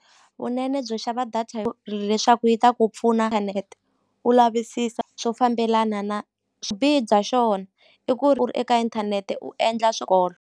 Vunene byo xava data leswaku yi ta ku pfuna u lavisisa swo fambelana na swibihi bya xona i ku ri u ri eka inthanete u endla swikolo.